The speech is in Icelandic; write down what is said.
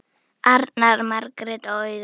Arnar, Margrét og Auður.